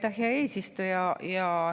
Aitäh, hea eesistuja!